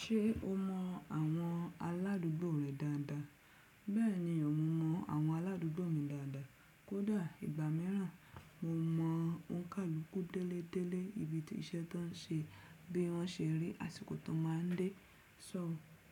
Ṣé o mọ àwọn aládùúgbò rẹ dáadáa? Bẹ́ẹ̀ni, mo mọ àwọn aládùúgbò mi dáadáa. Kódà ìgbà mìíràn mo mọ òǹkàlúkú délé délé, ibi tí iṣẹ́ tán ṣe, bí wọ́n ṣe rí, àsìkò tó máa ń dé. So